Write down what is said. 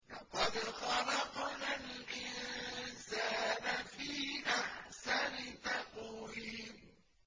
لَقَدْ خَلَقْنَا الْإِنسَانَ فِي أَحْسَنِ تَقْوِيمٍ